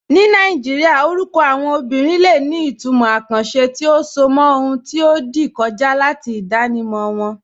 Ní Nàìjíríà, orúkọ àwọn obìnrin lè ní ìtumọ̀ àkànṣe tí ó so mọ́ ohun tí ó ti kọjá àti ìdánimọ̀ wọn.